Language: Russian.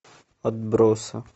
отбросы